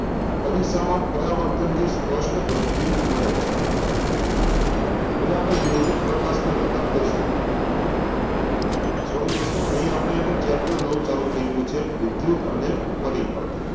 અરીસામાં પરાવર્તનથી સ્પષ્ટ પ્રતિબિંબ મળે છે હવે આપણે જોઈએ કે પ્રકાશને લગતા પ્રશ્ન sorry દોસ્તો અહિં આપણે એક chapter નવું ચાલુ થઈ ગયુ છે વિદ્યુત અને પરિપથ